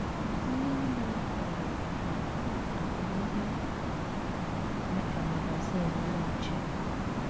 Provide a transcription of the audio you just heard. Nne Nne m kpara akpa akpa ihe dị ka magazin Ụlọ Nche.